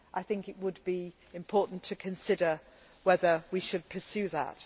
I think it would be important to consider whether we should pursue that.